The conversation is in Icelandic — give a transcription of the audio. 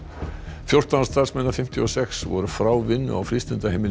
fjórtán starfsmenn af fimmtíu og sex voru frá vinnu á frístundaheimilinu